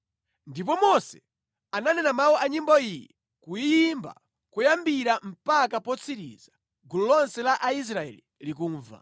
Ndipo Mose ananena mawu a nyimbo iyi kuyiimba koyambira mpaka potsiriza gulu lonse la Aisraeli likumva: